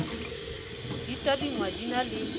di tadingwa di na le